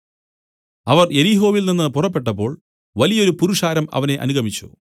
അവർ യെരിഹോവിൽ നിന്നു പുറപ്പെട്ടപ്പോൾ വലിയൊരു പുരുഷാരം അവനെ അനുഗമിച്ചു